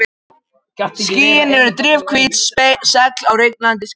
Skýin eru drifhvít segl á rennandi skipi.